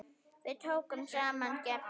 Við tókum engu sem gefnu.